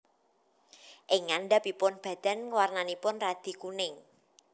Ing ngandhapipun badan warnanipun radi kuning